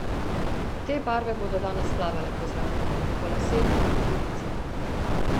Te barve bodo danes plavale po zraku, po laseh in po licih.